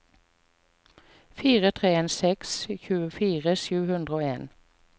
fire tre en seks tjuefire sju hundre og en